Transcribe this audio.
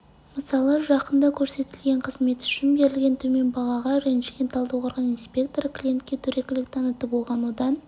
мысалы жақында көрсетілген қызмет үшін берілген төмен бағаға ренжіген талдықорған инспекторы клиентке дөрекілік танытып оған одан